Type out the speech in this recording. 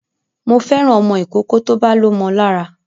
Mo fẹ́ràn ọmọ ìkókó tó bá lómo lára